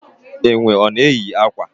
Enwe ọ na eyi akwa?